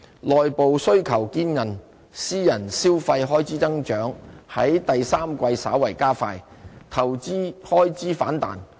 內部需求堅韌，私人消費開支增長在第三季稍為加快，投資開支反彈。